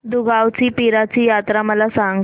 दुगावची पीराची यात्रा मला सांग